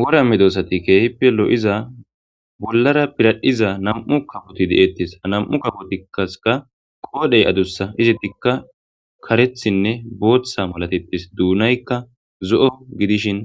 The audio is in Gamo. wora me doosati keehippe lo7iza bollara piradhiza nam7u kaboti de7ettes anam7u kabotikkaka qoodhey adussa izetikka karethinne booththa malatetis duunaykka zo7o gidishin